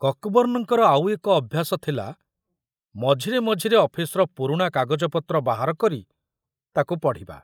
କକବର୍ଣ୍ଣଙ୍କର ଆଉ ଏକ ଅଭ୍ୟାସ ଥିଲା ମଝିରେ ମଝିରେ ଅଫିସ୍‌ର ପୁରୁଣା କାଗଜପତ୍ର ବାହାର କରି ତାକୁ ପଢ଼ିବା।